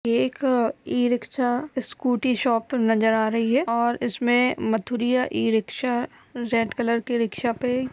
एक e-rickshaw scooty shop नजर आ रही है और इसमें मथुरिया इ-रिक्शा रेड कलर के रिक्शा पे --